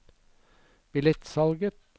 billettsalget